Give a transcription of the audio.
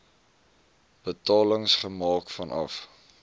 betalings gemaak vanaf